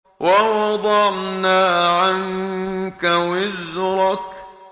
وَوَضَعْنَا عَنكَ وِزْرَكَ